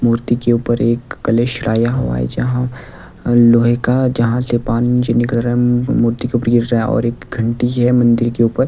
मूर्ति के ऊपर एक कलेश चढ़ाया हुआ है जहां लोहे का जहां से पानी नीचे निकल रहा है मूर्ति के ऊपर गिर रहा है और एक घंटी है मंदिर के ऊपर--